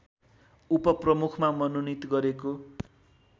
उपप्रमुखमा मनोनित गरेको